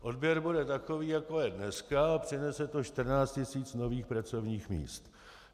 Odběr bude takový, jako je dneska, a přinese to 14 tisíc nových pracovních míst.